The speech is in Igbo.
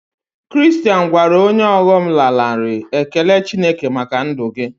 Kiriristain gwara onye ọghọm lanarị Ekele Chineke maka ndụ gị